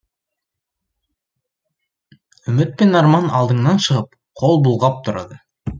үміт пен арман алдыңнан шығып қол бұлғап тұрады